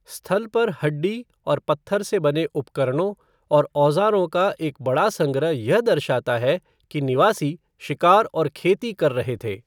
स्थल पर हड्डी और पत्थर से बने उपकरणों और औज़ारों का एक बड़ा संग्रह यह दर्शाता है कि निवासी शिकार और खेती कर रहे थे।